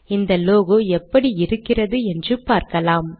இந்தlogo எப்படி இருக்கிறது என்று பார்க்கலாம்